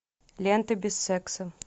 лента без секса